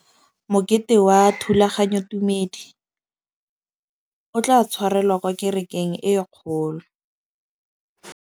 Mokete wa thulaganyôtumêdi o tla tshwarelwa kwa kerekeng e kgolo.